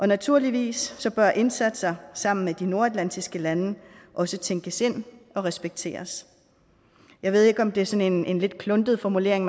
naturligvis bør indsatser sammen med de nordatlantiske lande også tænkes ind og respekteres jeg ved ikke om det er sådan en lidt kluntet formulering